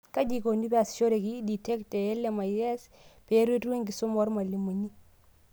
Kaji eikoni peasishoreki Ed Tech te LMIC peeretu enkisuma oormalimuni?